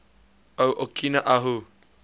o okina ahu